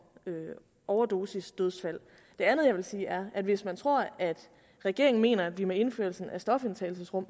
overdosisdødsfald det andet jeg vil sige er at hvis man tror at regeringen mener at vi med indførelsen af stofindtagelsesrum